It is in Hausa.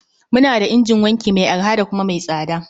Muna da injin wanki mai arha da kuma mai tsada.